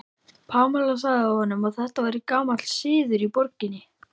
Pamela sagði honum að þetta væri gamall siður í borginni.